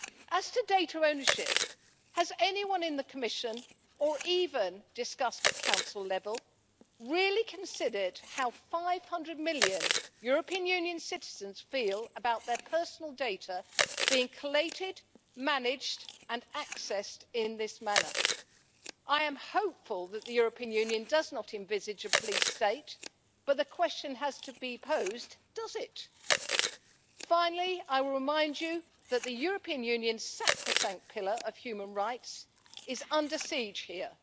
As for data ownership, has anyone in the Commission or even at Council level really considered how 500 million European Union citizens feel about their personal data being collated, managed and accessed in this manner? I am hopeful that the European Union does not envisage a police state, but the question has to be posed, does it? Finally, I will remind you that the European Union's sacrosanct pillar of human rights is under siege here.